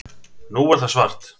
Nú er það svart